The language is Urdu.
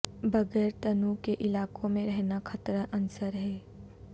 بغیر تنوع کے علاقوں میں رہنا خطرہ عنصر ہے